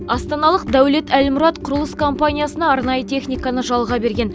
астаналық дәулет әлмұрат құрылыс компаниясына арнайы техниканы жалға берген